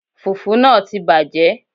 Fùfú náà ti bàjẹ́